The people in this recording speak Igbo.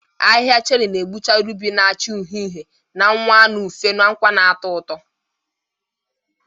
Ahihia cherị na-egbucha rubi na-acha uhie uhie, na-anwa anụ ufe na nkwa na-atọ ụtọ.